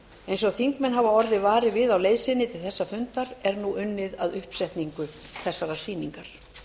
eins og þingmenn hafa orðið varir við á leið sinni til þessa fundar er nú unnið að uppsetningu þessarar sýningar